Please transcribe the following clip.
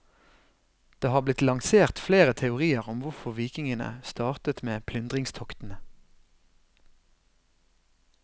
Det har blitt lansert flere teorier om hvorfor vikingene startet med plyndringstoktene.